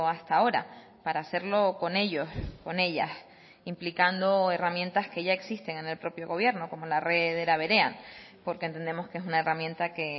hasta ahora para hacerlo con ellos con ellas implicando herramientas que ya existen en el propio gobierno como la red era berean porque entendemos que es una herramienta que